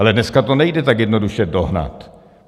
Ale dneska to nejde tak jednoduše dohnat.